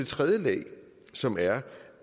tredje lag som er